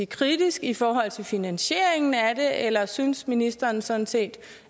kritisk i forhold til finansieringen af det eller synes ministeren sådan set